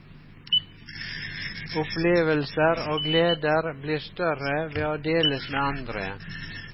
Opplevelser og gleder blir større ved å deles med andre.